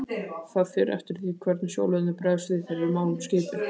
Það fer eftir því hvernig sjóliðarnir bregðast við þegar við málum skipin